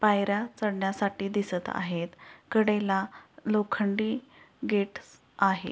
पायऱ्या चढण्यासाठी दिसत आहेत कडेला लोखंडी गेट आहे.